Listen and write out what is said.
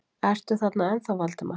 Ertu þarna ennþá, Valdimar?